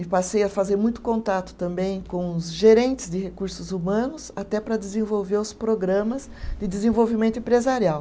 E passei a fazer muito contato também com os gerentes de recursos humanos, até para desenvolver os programas de desenvolvimento empresarial.